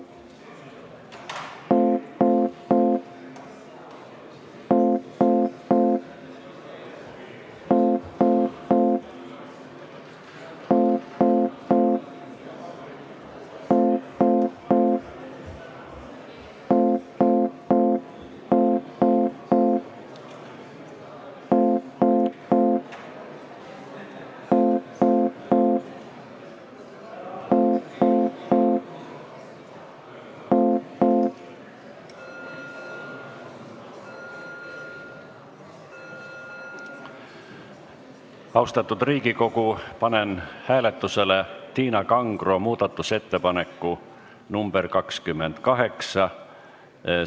Austatud Riigikogu, panen hääletusele Tiina Kangro esitatud muudatusettepaneku nr 28.